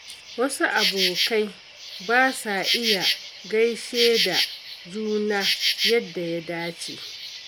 Wasu abokai ba sa iya gaishe da juna yadda ya dace.